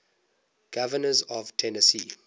governors of tennessee